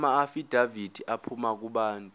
amaafidavithi aphuma kubantu